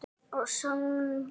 Og söngl.